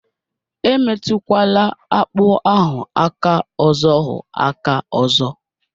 Emetụkwala akpụ ahụ aka ọzọhụ aka ọzọ